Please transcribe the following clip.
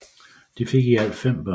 De fik i alt 5 børn